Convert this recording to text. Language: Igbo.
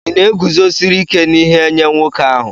Ị na-eguzosiri ike n'ihe nye nwoke ahụ?